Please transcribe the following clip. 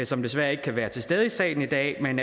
som desværre ikke kan være til stede i salen i dag men